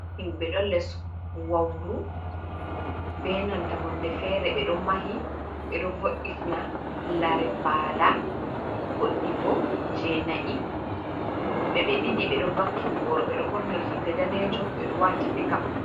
Himbe ɗo les wauru, be nanta hunde fere ɓe ɗo mahi ɓe ɗo voitina lare mbala goɗɗi bo je nai woɓɓe be ɗiɗi ɓeɗo vakki boro, ɓeɗo ɓorni rigaga danejum bedo wati picap.